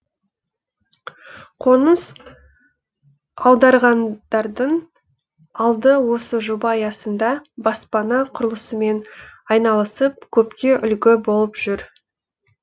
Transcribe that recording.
қоныс аударғандардың алды осы жоба аясында баспана құрылысымен айналысып көпке үлгі болып жүр